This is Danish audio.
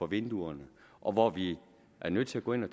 vinduerne og hvor vi er nødt til at gå ind og